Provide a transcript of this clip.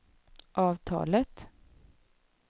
avtalet